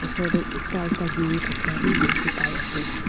osor dae eta ekta geri thakya bhi dekhey pai ase.